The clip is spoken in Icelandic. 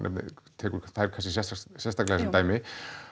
tekur þær kannski sérstaklega sem dæmi